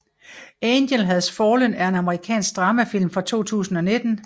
Angel Has Fallen er en amerikansk dramafilm fra 2019